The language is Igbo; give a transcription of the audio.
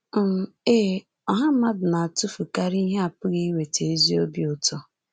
um Ee, ọha mmadụ na-atụfukarị ihe apụghị iweta ezi obi ụtọ.